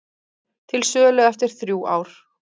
Til sölu eftir þrjú ár